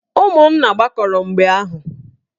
Ụmụnna gbakọrọ mgbe ahụ.